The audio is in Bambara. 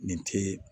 Nin te